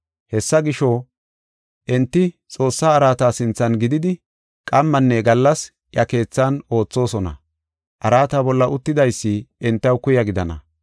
Hessa gisho, enti Xoossaa araata sinthan gididi qammanne gallas iya keethan oothosona; araata bolla uttidaysi entaw kuya gidana.